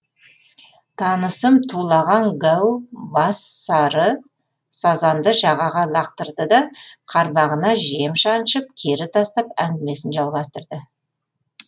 танысым тулаған гәу бас сары сазанды жағаға лақтырлы да қармағына жем шаншып кері тастап әңгімесін жалғастырды